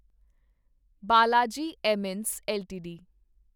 Balaji Amines LTD